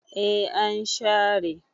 e an share